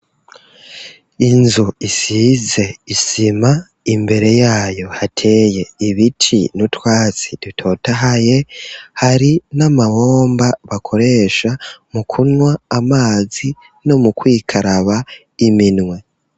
Inzu isize isima, imbere yayo hateye ibiti n'utwatsi dutotahaye, hari n'amabomba bakoresha mu kunwa amazi no mu kwikaraba iminwe.